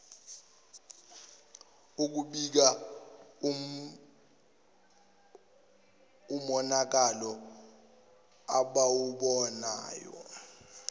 ukubika umonakalo abawubonayo